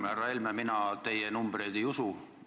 Härra Helme, mina teie numbreid ei usu.